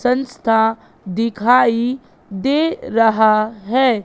संस्था दिखाई दे रहा हैं।